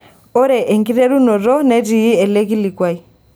Ore enkiterunoto netii ele kilikuai.